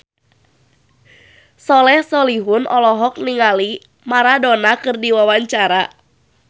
Soleh Solihun olohok ningali Maradona keur diwawancara